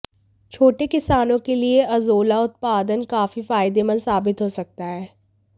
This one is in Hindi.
छोटे किसानों के लिए अज़ोला उत्पदान काफी फायदेमंद साबित हो सकता है